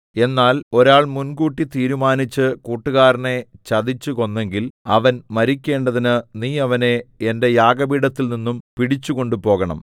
എന്നാൽ ഒരാൾ മുൻകൂട്ടി തീരുമാനിച്ചു കൂട്ടുകാരനെ ചതിച്ചു കൊന്നെങ്കിൽ അവൻ മരിക്കേണ്ടതിന് നീ അവനെ എന്റെ യാഗപീഠത്തിൽ നിന്നും പിടിച്ച് കൊണ്ടുപോകണം